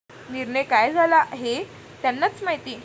निर्णय काय झाला हे त्यांनाच माहिती.